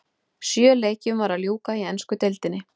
Sjö leikjum var að ljúka í ensku deildinni.